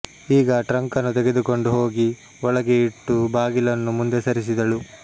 ಈಗ ಟ್ರಂಕನ್ನು ತೆಗೆದುಕೊಂಡು ಹೋಗಿ ಒಳಗೆ ಇಟ್ಟು ಬಾಗಿಲನ್ನು ಮುಂದೆ ಸರಿಸಿದಳು